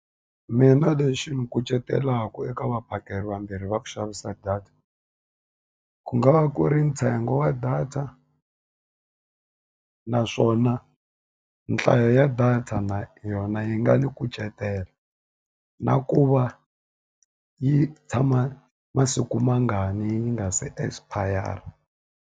Mina lexi ni kucetelaka eka vaphakeri vambirhi va ku xavisa data, ku nga va ku ri ntsengo wa data naswona nhlayo ya data na yona yi nga ni kucetela. Na ku va yi tshama masiku mangani yi nga se expire-a.